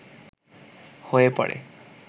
হয়ে পড়ে